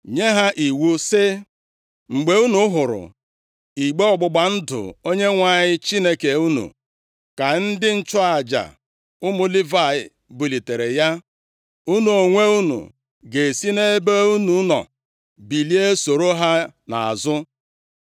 nye ha iwu sị, “Mgbe unu hụrụ igbe ọgbụgba ndụ Onyenwe anyị Chineke unu, ka ndị nchụaja, ụmụ Livayị, bulitere ya, unu onwe unu ga-esi nʼebe unu nọ bilie soro ha nʼazụ.